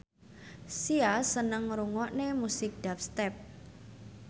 Sia seneng ngrungokne musik dubstep